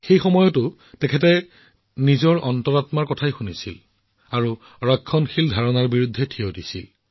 সেই সময়ছোৱাতো তেওঁ হৃদয়ৰ কণ্ঠ শুনি ৰক্ষণশীল বিশ্বাসৰ বিৰুদ্ধে থিয় দিছিল